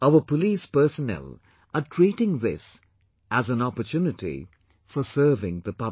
Our police personnel are treating this as an opportunity for serving the public